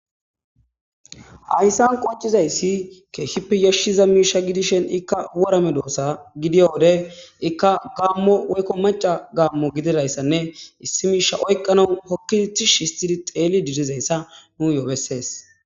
Hayssan qoccizayssi keehippe yashshiza miisha gidishen ikka wora medoosa gidiya wode ikka gaammo woykko maca gaammo gididayssanne issi miisha oyqqano hokkitish histidi xeeli didizayssa nu bessees.